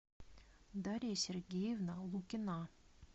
дарья сергеевна лукина